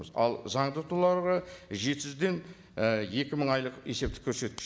ал заңды тұлғаларға жеті жүзден екі мың айлық есептік көрсеткіш